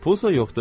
Pulsa yoxdur.